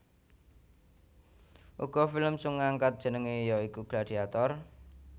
Uga film sung ngangkat jenenge ya iku Gladiator